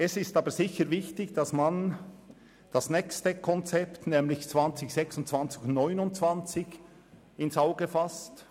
Es ist aber sicher wichtig, das nächste Konzept 2026 bis 2029 ins Auge zu fassen.